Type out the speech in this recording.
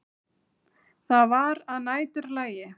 Það var að næturlagi.